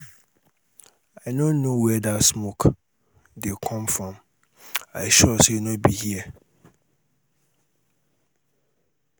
i no know where dat smoke dey come from. i sure say no be here.